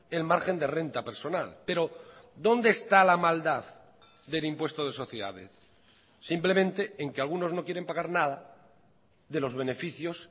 el margen de renta personal pero dónde está la maldad del impuesto de sociedades simplemente en que algunos no quieren pagar nada de los beneficios